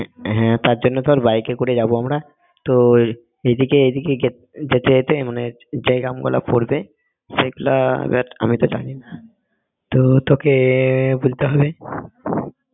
হ্যাঁ তার জন্য তো বাইকে করে যাব আমরা তো এই দিকে এই দিকে গেত~ যেতে যেতে মানে যে গ্রামগুলো পড়বে সেগুলা আমি তো জানিনা তো তোকে বলতে হবে